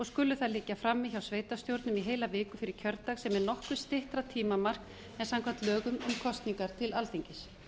skulu þær liggja frammi hjá sveitarstjórnum í heila viku fyrir kjördag sem er nokkuð styttra tímamark en samkvæmt lögum um kosningar til alþingis